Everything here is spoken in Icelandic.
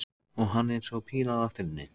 Og hann eins og píla á eftir henni.